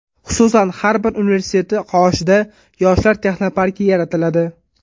Xususan, har bir universiteti qoshida Yoshlar texnoparki yaratiladi.